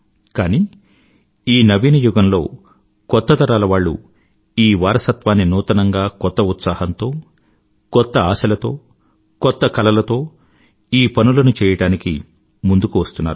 కానీ ఈ నవీన యుగంలో కొత్త తరాలవాళ్ళు ఈ వారసత్వాన్ని నూతనంగా కొత్త ఉత్సాహంతో కొత్త ఆశలతో కొత్త కలలతో ఈ పనులను చెయ్యడానికి ముందుకు వస్తున్నారు